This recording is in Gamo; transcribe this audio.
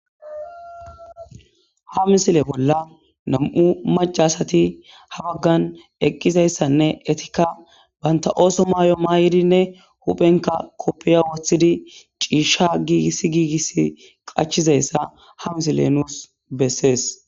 Ha misile bolla nam'u macca asati ha baggan eqqizayssanne etikka banta ooso mayo mayidinne huphenka koppiya woththidi ciishsha giigis giigis qachizayssa ha misile nuus bessees.